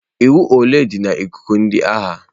Iwu ole dị na ikuku ndị agha?